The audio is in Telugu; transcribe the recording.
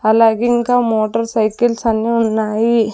అలాగే ఇంకా మోటర్ సైకిల్స్ అన్ని ఉన్నాయి.